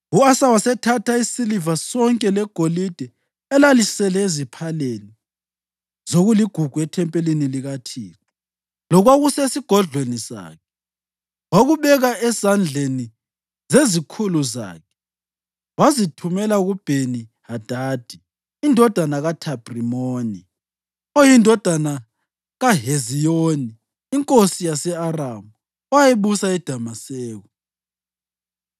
U-Asa wasethatha isiliva sonke legolide elalisele eziphaleni zokuligugu ethempelini likaThixo lokwakusesigodlweni sakhe. Wakubeka ezandleni zezikhulu zakhe wazithumela kuBheni-Hadadi indodana kaThabhrimoni, oyindodana kaHeziyoni, inkosi yase-Aramu, owayebusa eDamaseko.